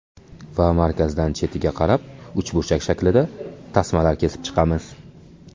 Va markazdan chetiga qarab uchburchak shaklida tasmalar kesib chiqamiz.